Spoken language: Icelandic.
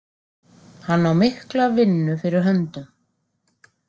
Hann á mikla vinnu fyrir höndum.